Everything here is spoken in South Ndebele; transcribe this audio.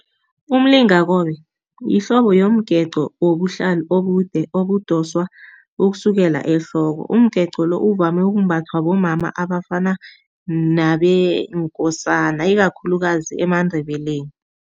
Umlingakobe yihlobo yomgeqo wobuhlali obude obudoswa ukusukela ehloko. Umgeqo lo uvame ukumbathwa bomama abafana nabeenkosana ikakhulukazi emaNdebele.